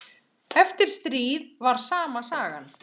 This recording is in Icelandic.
Eftir stríð var sama sagan.